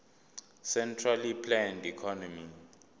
centrally planned economy